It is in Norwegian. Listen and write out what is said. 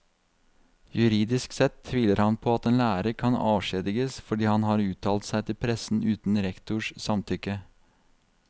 Juridisk sett tviler han på at en lærer kan avskjediges fordi han har uttalt seg til pressen uten rektors samtykke.